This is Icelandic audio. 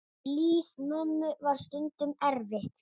Líf mömmu var stundum erfitt.